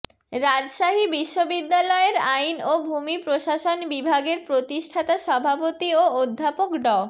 রাজশাহী বিশ্ববিদ্যালয়ের আইন ও ভূমি প্রশাসন বিভাগের প্রতিষ্ঠাতা সভাপতি ও অধ্যাপক ড